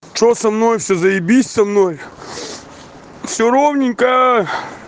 что со мной все заибись со мной все ровненько